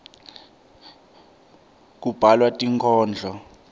kubhalwa tinkhondlo